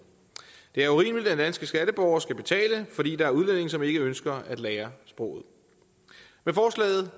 det er urimeligt at danske skatteborgere skal betale fordi der er udlændinge som ikke ønsker at lære sproget med forslaget